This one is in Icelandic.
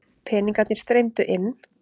Peningarnir streymdu inn.